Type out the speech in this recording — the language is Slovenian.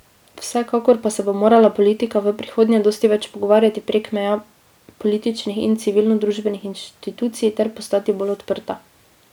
Vsekakor pa se bo morala politika v prihodnje dosti več pogovarjati prek meja političnih in civilnodružbenih inštitucij ter postati bolj odprta.